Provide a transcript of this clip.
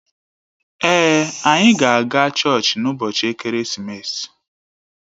Èé, anyị ga-aga chọọchị n'ụbọchị ekeresimesi.